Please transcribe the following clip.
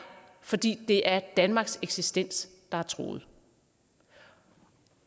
fordi det er danmarks eksistens der er truet